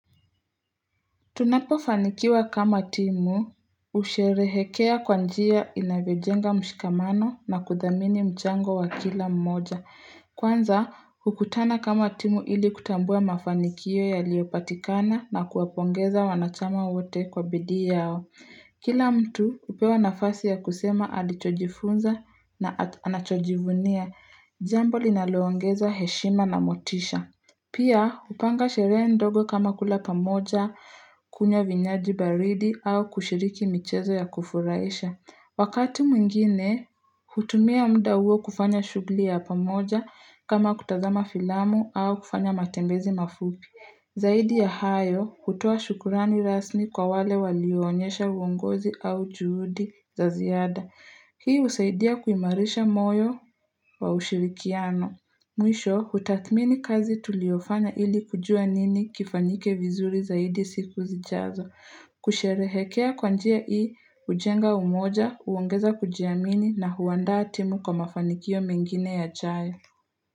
Tunapofanikiwa kama timu husherehekea kwa njia inavyojenga mshikamano na kudhamini mchango wa kila mmoja. Kwanza, hukutana kama timu ili kutambua mafanikio yaliyopatikana na kuwapongeza wanachama wote kwa bidii yao. Kila mtu hupewa nafasi ya kusema alichojifunza na anachojivunia. Jambo linaloongeza heshima na motisha. Pia, hupanga sherehe ndogo kama kula pamoja, kunywa vinywaji baridi au kushiriki michezo ya kufurahisha. Wakati mwingine, hutumia muda huo kufanya shughuli ya pamoja kama kutazama filamu au kufanya matembezi mafupi. Zaidi ya hayo, hutoa shukrani rasmi kwa wale walionyesha uongozi au juhudi za ziada. Hii husaidia kuimarisha moyo wa ushirikiano. Mwisho, hutathmini kazi tuliyofanya ili kujua nini kifanyike vizuri zaidi siku zijazo, kusherehekea kwa njia hii, hujenga umoja, huongeza kujiamini na huandaa timu kwa mafanikio mengine yajayo.